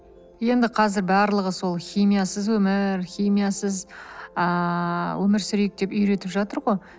енді қазір барлығы сол химиясыз өмір химиясыз ыыы өмір сүрейк деп үйретіп жатыр ғой